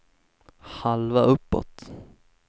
halva uppåt